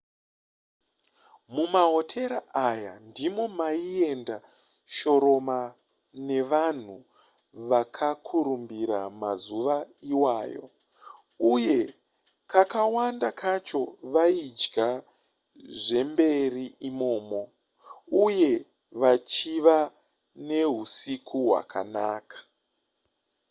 mumahotera aya ndimo maienda shoroma nevanhu vakakurumbira mazuva iwayo uye kakawanda kacho vaidya zvemberi imomo uye vachiva neusiku hwakanaka